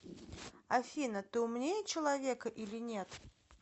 афина ты умнее человека или нет